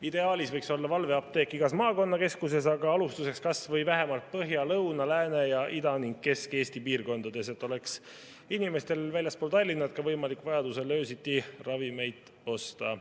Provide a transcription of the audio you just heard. Ideaalis võiks valveapteek olla igas maakonnakeskuses, aga alustuseks vähemalt Põhja‑, Lõuna‑, Lääne‑, Ida‑ ning Kesk-Eesti piirkondades, et inimestel väljaspool Tallinna oleks võimalik vajaduse korral ka öösiti ravimeid osta.